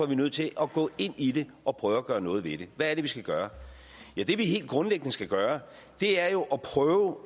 vi nødt til at gå ind i det og prøve at gøre noget ved det hvad er det vi skal gøre ja det vi helt grundlæggende skal gøre er jo at prøve